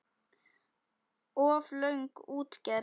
Of löng útgerð.